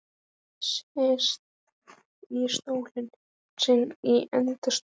Sest í stólinn sinn í enda stofunnar.